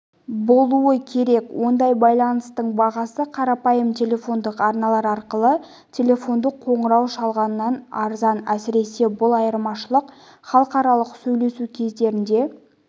болуы керек ондай байланыстың бағасы қарапайым телефондық арналар арқылы телефондық қоңырау шалғаннан арзан әсіресе бұл айырмашылық халықаралық сөйлесу кездерінде